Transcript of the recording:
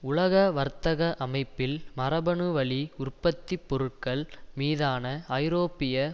உலக வர்த்தக அமைப்பில் மரபணு வழி உற்பத்தி பொருட்கள் மீதான ஐரோப்பிய